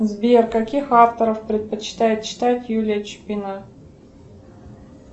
сбер каких авторов предпочитает читать юлия чупина